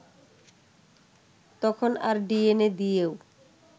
তখন আর ডিএনএ দিয়েও